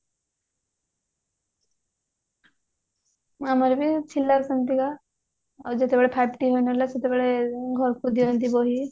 ହଁ ଆମର ବି ଥିଲା ସେମିତିକା ଆଉ ଯେତେବେଳେ ହେଲା ସେତେବେଳେ ଘରକୁ ଦିଅନ୍ତି ବହି